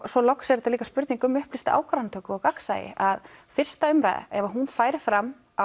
svo loks er þetta líka spurning um upplýsta ákvarðanatöku og gagnsæi að fyrsta umræða ef hún færi fram